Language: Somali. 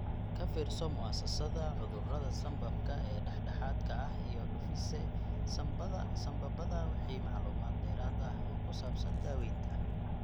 Ka fiirso Mu'asasada Cudurada Sambabka ee Dhexdhexaadka ah iyo Diffuse Sambabada wixii macluumaad dheeraad ah oo ku saabsan daaweynta.